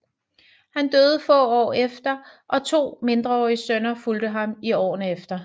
Han døde få år efter og to mindreårige sønner fulgte ham i årene efter